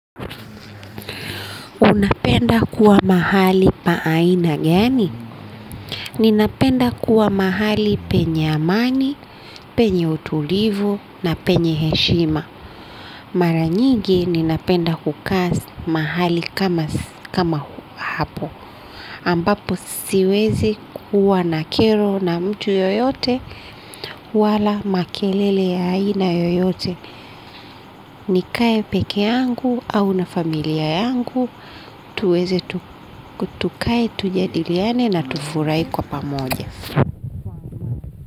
Naam napenda kuwa mahali pa aina gani ninapenda kuwa mahali penye amani, penye utulivu na penye heshima. Mara nyingi ninapenda kukaa mahali kama hapo. Ambapo siwezi kuwa na kero na mtu yoyote wala makelele ya aina yoyote. Nikae pekee yangu au na familia yangu. Tuweze tukae tujadiliane na tufurahi kwa pamoja.